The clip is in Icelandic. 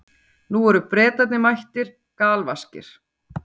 Nú eru Bretarnir mættir, galvaskir.